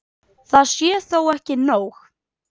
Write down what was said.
Það sé þó ekki nóg.